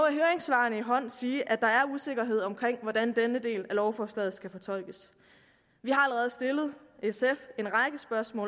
høringssvarene i hånd sige at der er usikkerhed omkring hvordan denne del af lovforslaget skal fortolkes sf